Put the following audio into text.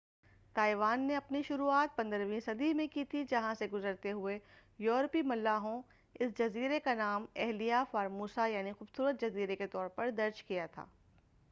Taiwan نے اپنی شروعات 15 ویں صدی میں کی تھی جہاں سے گزرتے ہوئے یورپی ملاحوں اس جزیرے کا نام ایلہا فارموسہ یعنی خوبصورت جزیرے کے طورپر درج کیا تھا